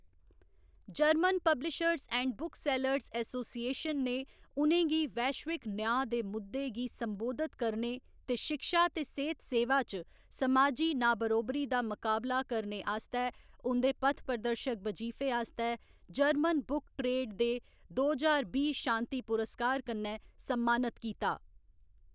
German publishers and booksellers association ने उ'नें गी वैश्विक न्यांऽ दे मुद्दें गी संबोधत करने ते शिक्षा ते सेह्‌त सेवा च समाजी ना बरोबरी दा मकाबला करने आस्तै उं'दे पथप्रदर्शक बजीफे आस्तै जर्मन बुक ट्रेड दे दो ज्हार बीह्‌ शांति पुरस्कार कन्नै सम्मानत कीता।